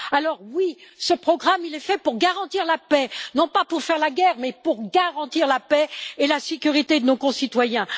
Alors oui, ce programme est fait pour garantir la paix, non pas pour faire la guerre, mais pour garantir la paix et la sécurité de nos concitoyens.